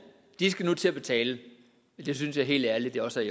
skal nu til at betale det synes jeg helt ærligt også